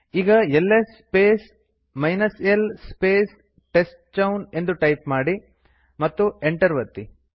ಈಗ LS space l space t e s t c h o w ನ್ ಎಂದು type ಮಾಡಿ ಮತ್ತು ಎಂಟರ್ ಒತ್ತಿ